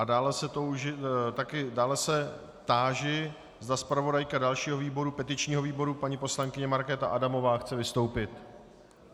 A dále se táži, zda zpravodajka dalšího výboru, petičního výboru, paní poslankyně Markéta Adamová chce vystoupit.